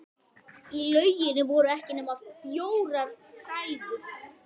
Í lauginni voru ekki nema fjórar hræður.